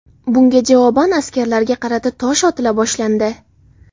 Bunga javoban askarlarga qarata tosh otila boshlandi.